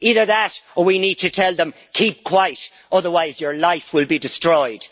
Either that, or we need to tell them, keep quiet, otherwise your life will be destroyed'.